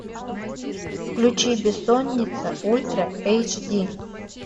включи бессонница ультра эйч ди